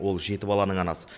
ол жеті баланың анасы